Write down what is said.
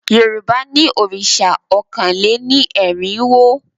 Yorùbá ní òrìṣà ọkàn lé ní erinwo